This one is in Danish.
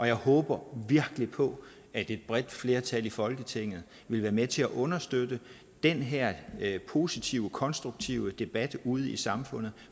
jeg håber virkelig på at et bredt flertal i folketinget vil være med til at understøtte den her positive og konstruktive debat ude i samfundet